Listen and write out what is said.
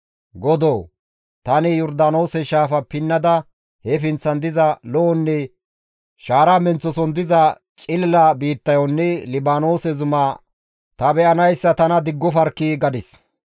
Godoo! Tani Yordaanoose shaafa pinnada he pinththan diza lo7onne shaara menththoson diza cilila biittayonne Libaanoose zuma ta be7anayssa tana diggofarkkii!» gadis.